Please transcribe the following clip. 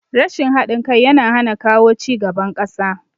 Rashin haɗin kai yana hana kawo cigaban ƙasa